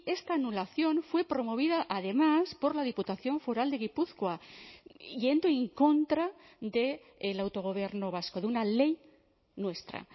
esta anulación fue promovida además por la diputación foral de gipuzkoa yendo en contra del autogobierno vasco de una ley nuestra